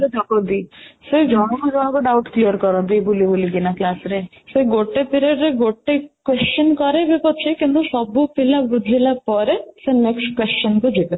ସେ ଠକନ୍ତି ସେ ଜଣଙ୍କୁ ଜଣଙ୍କୁ doubt clear କରନ୍ତି ବୁଲିବୁଲି କିନା class ରେ ସେ ଗୋଟେ period ରେ ଗୋଟେ question କରିବେ ପଛେ କିନ୍ତୁ ସବୁ ପିଲା ବୁଝିଲା ପରେ ସେ next question କୁ ଯିବେ